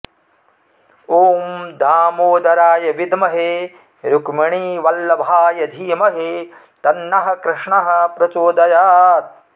ॐ दामोदराय विद्महे रुक्मिणीवल्लभाय धीमहि तन्नः कृष्णः प्रचोदयात्